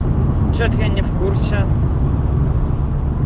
что-то я не в курсе